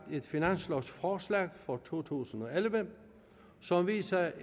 et finanslovforslag for to tusind og elleve som viser